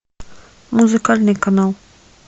музыкальный канал